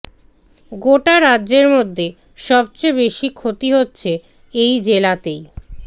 গোটা রাজ্যের মধ্যে সবচেয়ে বেশি ক্ষতি হচ্ছে এই জেলাতেই